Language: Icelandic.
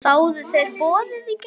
Þáðu þeir boðið í gær.